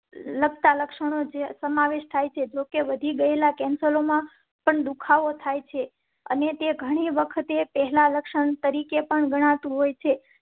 લક્ષણ છે. જોકે વધી ગયેલા. દુખાવો થાય છે અને તે ઘણી વખતે પહેલાં લક્ષણ તરીકે પણ ગણા તુ હોય છે.